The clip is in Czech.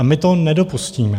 A my to nedopustíme.